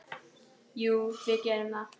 Jú, við gerum það.